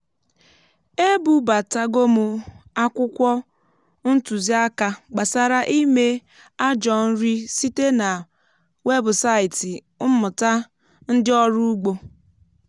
e bubatago m akwụkwọ ntuziaka gbasara ime ajọ nri site na webụsaịtị mmụta ndị ọrụ ugbo.